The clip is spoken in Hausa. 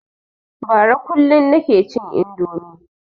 Bara kullum nike cin indomi